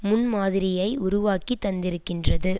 முன்மாதிரியை உருவாக்கித் தந்திருக்கின்றது